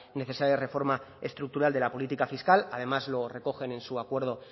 necesaria reforma estructural de la política fiscal además lo recogen en su acuerdo